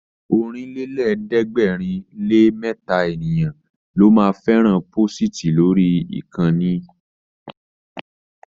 Ọ̀rìnlélẹ̀ẹ́dẹ́gbèrinlémẹta ènìyàn ló ma fẹ́ràn pósìtì lórí ìkànnì